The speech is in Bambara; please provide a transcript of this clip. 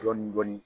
Dɔɔnin dɔɔnin